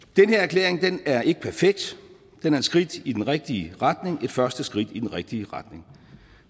den her er ikke perfekt den er et skridt i den rigtige retning et første skridt i den rigtige retning